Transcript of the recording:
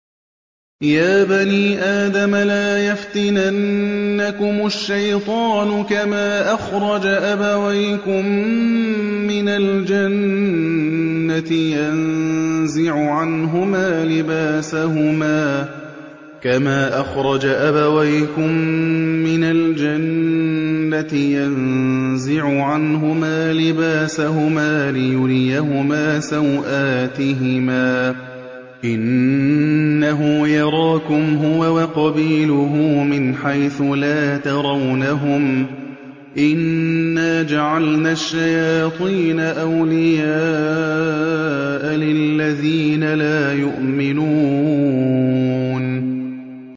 يَا بَنِي آدَمَ لَا يَفْتِنَنَّكُمُ الشَّيْطَانُ كَمَا أَخْرَجَ أَبَوَيْكُم مِّنَ الْجَنَّةِ يَنزِعُ عَنْهُمَا لِبَاسَهُمَا لِيُرِيَهُمَا سَوْآتِهِمَا ۗ إِنَّهُ يَرَاكُمْ هُوَ وَقَبِيلُهُ مِنْ حَيْثُ لَا تَرَوْنَهُمْ ۗ إِنَّا جَعَلْنَا الشَّيَاطِينَ أَوْلِيَاءَ لِلَّذِينَ لَا يُؤْمِنُونَ